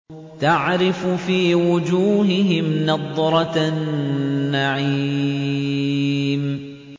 تَعْرِفُ فِي وُجُوهِهِمْ نَضْرَةَ النَّعِيمِ